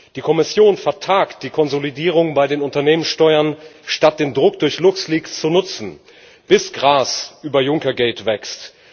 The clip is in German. Die Kommission vertagt die Konsolidierung bei den Unternehmenssteuern, statt den Druck durch Luxleaks zu nutzen, bis Gras über Juncker Geld wächst.